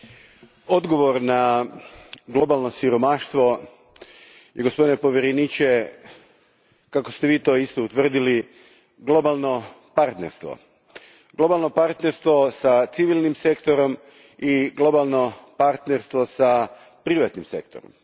Gospodine predsjedniče, odgovor na globalno siromaštvo i gospodine povjereniče, kako ste vi to isto utvrdili, globalno partnerstvo. Globalno partnerstvo s civilnim sektorom i globalno partnerstvo s privatnim sektorom.